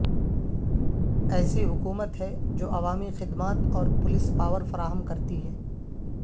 ایسی حکومت ہے جو عوامی خدمات اور پولیس پاور فراہم کرتی ہے